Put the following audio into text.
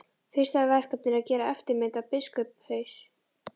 Fyrsta verkefnið er að gera eftirmynd af biskupshaus.